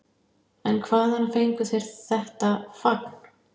En hvaðan fengu þeir þetta fagn?